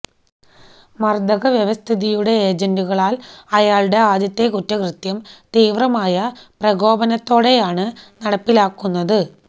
മർദ്ദക വ്യവസ്ഥിതിയുടെ ഏജന്റുകളാൽ അയാളുടെ ആദ്യത്തെ കുറ്റകൃത്യം തീവ്രമായ പ്രകോപനത്തോടെയാണ് നടപ്പിലാക്കുന്നത്